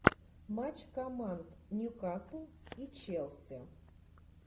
матч команд ньюкасл и челси